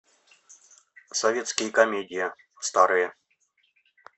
советские комедии старые